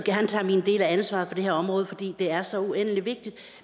gerne tager min del af ansvaret for det her område for det er så uendelig vigtigt